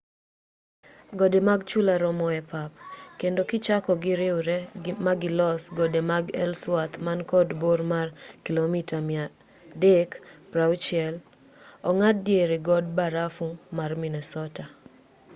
gode mag chula romo e pap kendo kichako giriwre magilos gode mag ellsworth man kod bor mar kilomita 360 ong'ad diere god barafu mar minnesota